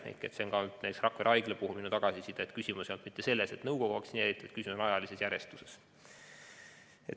See on ka Rakvere Haigla puhul minu tagasiside, et küsimus ei olnud mitte selles, et nõukogu on vaktsineeritud, vaid küsimus oli ajalises järjestuses.